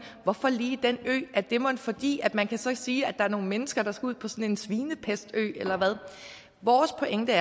hvorfor lige den ø er det mon fordi man så kan sige at der er nogle mennesker der skal ud på sådan en svinepestø eller hvad vores pointe